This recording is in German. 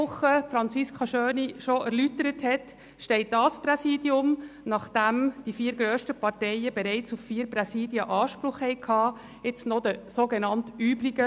Nachdem die vier grössten Parteien bereits Anspruch auf vier Präsidien hatten, steht das SAK-Präsidium den sogenannten «übrigen» zu, wie Grossrätin Schöni-Affolter letzte Woche bereits erläuterte.